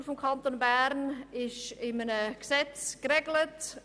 Die Lohnstruktur des Kantons Bern ist in einem Gesetz geregelt.